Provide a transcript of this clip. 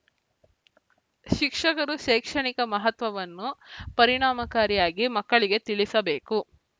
ಶಿಕ್ಷಕರು ಶೈಕ್ಷಣಿಕ ಮಹತ್ವವನ್ನು ಪರಿಣಾಮಕಾರಿಯಾಗಿ ಮಕ್ಕಳಿಗೆ ತಿಳಿಸಬೇಕು